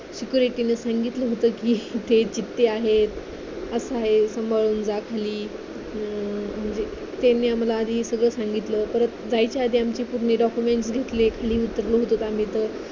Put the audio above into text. security ने सांगितलं होतं कि आहेत असं आहे सांभाळून जा खाली त्यांनी आम्हाला आधी हे सगळं संगीतलं परत जायच्या अगोदर document घेतले खाली उतरत होतो आम्ही तर